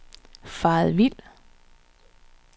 faret vild